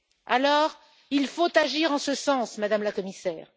pays. Alors, il faut agir en ce sens, Madame la Commissaire.